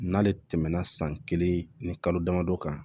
N'ale tɛmɛna san kelen ni kalo damadɔ kan